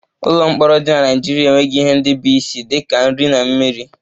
Ụlọ mkpọrọ dị na Naịjirịa enweghị ihe ndị bụ isi dị ka nri na mmiri